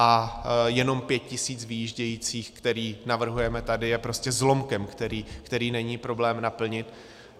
A jenom pět tisíc vyjíždějících, které navrhujeme tady, je prostě zlomkem, který není problém naplnit.